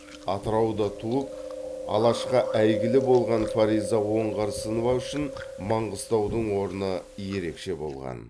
атырауда туып алашқа әйгілі болған фариза оңғарсынова үшін маңғыстаудың орны ерекше болған